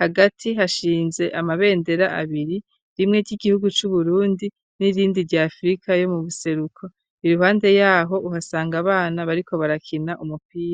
hagati, hashinze amabendera, abiri; rimwe ry'igihugu c'Uburundi, n'irindi, rya afrika yo mu buseruko; iruhande y'aho, uhasanga abana, bariko barakina, umupira.